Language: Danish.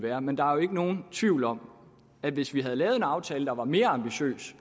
er men der er jo ikke nogen tvivl om at hvis vi havde lavet en aftale der var mere ambitiøs